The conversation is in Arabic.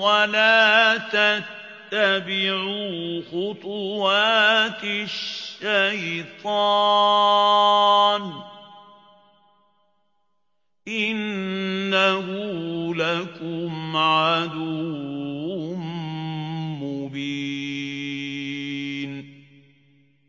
وَلَا تَتَّبِعُوا خُطُوَاتِ الشَّيْطَانِ ۚ إِنَّهُ لَكُمْ عَدُوٌّ مُّبِينٌ